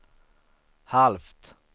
halvt